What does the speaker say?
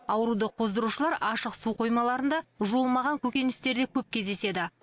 ауруды қоздырушылар ашық су қоймаларында жуылмаған көкөністерде көп кездеседі